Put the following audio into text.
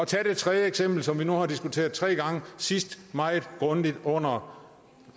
tag det tredje eksempel som vi nu er diskuteret tre gange sidst meget grundigt under